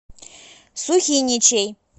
сухиничей